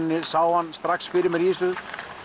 sá hann strax fyrir mér í þessu